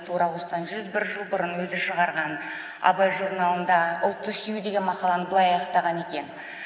тура осыдан жүз бір жыл бұрын өзі шығарған абай журналында ұлтты сүю деген мақаланы былай аяқтаған екен